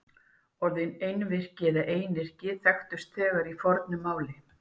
Orðin einvirki og einyrki þekktust þegar í fornu máli.